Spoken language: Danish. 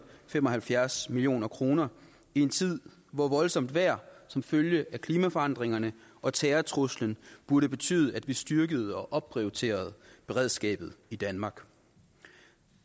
fem og halvfjerds million kroner i en tid hvor voldsomt vejr som følge af klimaforandringerne og terrortruslen burde betyde at vi styrkede og opprioriterede beredskabet i danmark